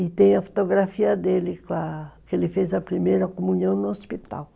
E tem a fotografia dele, com a , que ele fez a primeira comunhão no hospital.